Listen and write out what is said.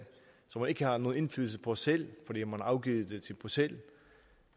som man ikke har nogen indflydelse på selv fordi man har afgivet det til bruxelles